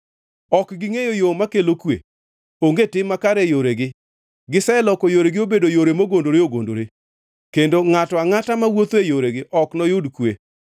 Ok gingʼeyo yo makelo kwe, onge tim makare e yoregi. Giseloko yorego obedo yore mogondore ogondore, kendo ngʼato angʼata mawuotho e yorego ok noyud kwe.